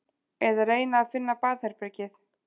Eða reyna að finna baðherbergið.